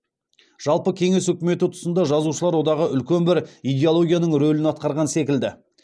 жалпы кеңес үкіметі тұсында жазушылар одағы үлкен бір идеологияның рөлін атқарған секілді